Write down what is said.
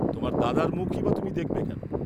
তোমার দাদার মুখই বা তুমি দেখবে কেন?